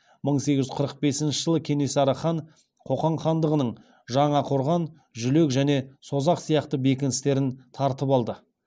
мың сегіз жүз қырық бесінші жылы кенесары хан қоқан хандығының жаңақорған жүлек және созақ сияқты бекіністерін тартып алды